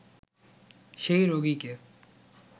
সেই রোগিকে